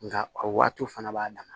Nka a waatiw fana b'a dan na